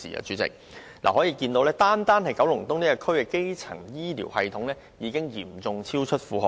主席，由此可見，單單九龍東的基層醫療系統已嚴重超出負荷。